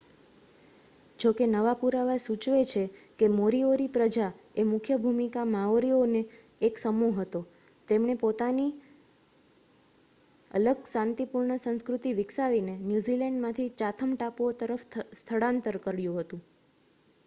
જોકે નવા પુરાવા સૂચવે છે કે મોરીઓરી પ્રજા એ મુખ્ય ભૂમિ માઓરીનો એક સમૂહ હતો જેમણે તેમની પોતાની અલગ શાંતિપૂર્ણ સંસ્કૃતિ વિકસાવીને ન્યૂઝીલેન્ડમાંથી ચાથમ ટાપુઓ તરફ સ્થળાંતર કર્યું હતું